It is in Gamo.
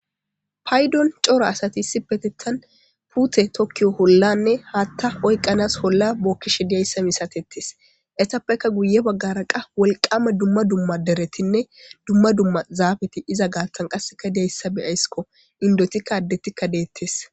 Paydon cora asati issi petettan pute tokkiyo hollanne haatta oyqqanas holla bokkishe diyayssa misatettes esappekka guye baggara qa wolqama dumma dumma deretinne dumma dumma zaabeti iza gaaththan qasseka diyayssa beyaysikko indotikka addetikka deettes.